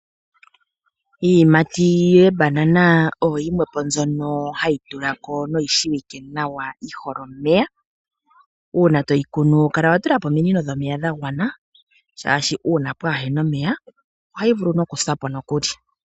Iiyimati yebanana oyo yimwe po mbyono hai tulako noyi shiwike nawa yihole omeya. Uuna toyi kunu kala watula po omonino dhomeya dha gwana, shaashi uuna pwaa hena omeya ohayi vulu nokusa po nokuli.